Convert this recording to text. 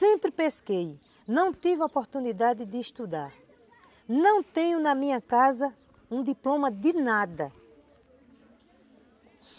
Sempre pesquei, não tive oportunidade de estudar, não tenho na minha casa um diploma de nada.